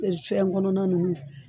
fɛn kɔnɔna ninnu.